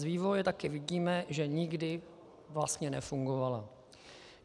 Z vývoje taky vidíme, že nikdy vlastně nefungovala.